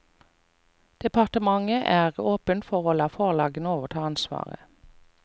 Departementet er åpen for å la forlagene overta ansvaret.